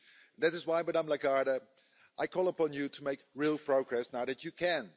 That is why, Ms Lagarde, I call upon you to make real progress now that you can.